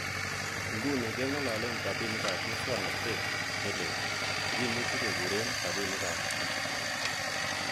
Inguni ke ngololen rabinikab muswognotet ne leel, che kimuche kekuren rabinik ab E.